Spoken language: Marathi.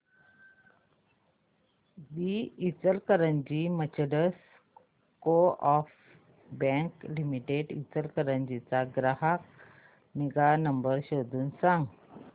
दि Ichalkaranji merchants coop bank limited Ichalkaranji चा ग्राहक निगा नंबर शोधून सांग